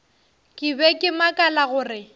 ke be ke makala gore